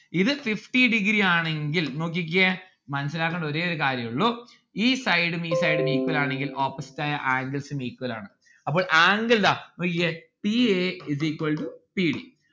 ഇത് fifty degree ആണെങ്കിൽ നോക്കിക്കിയേ മന്നസ്സിലാക്കണ്ടേ ഒരേ ഒരു കാര്യുള്ളു ഈ side ഉം ഈ side ഉം equal ആണെങ്കിൽ opposite ആയ angles ഉം equal ആണ്. അപ്പോൾ angle ദാ നോക്കിക്കേ c a is equal to c d